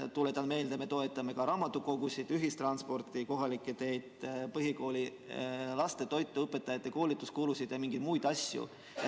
Tuletan meelde, et me toetame ka raamatukogusid, ühistransporti, kohalikke teid, põhikoolilaste toitu, õpetajate koolituskulusid ja veel mingeid muid asju.